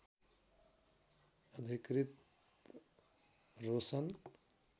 अधिकृत रोशन